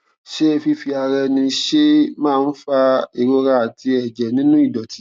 ṣé fífi ara ẹni ṣe é máa ń fa ìrora àti ẹjẹ nínú ìdọtí